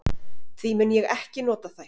Því mun ég ekki nota þær.